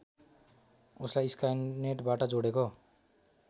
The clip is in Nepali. उसलाई स्काइनेटबाट जोडेको